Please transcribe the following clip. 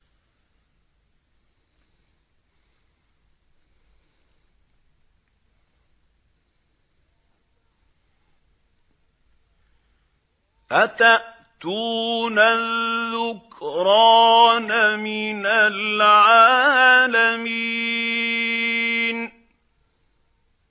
أَتَأْتُونَ الذُّكْرَانَ مِنَ الْعَالَمِينَ